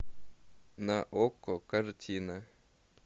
на окко картина